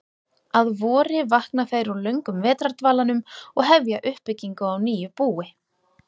Að vori vakna þær úr löngum vetrardvalanum og hefja uppbyggingu á nýju búi.